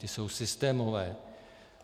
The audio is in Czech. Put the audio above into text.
Ty jsou systémové.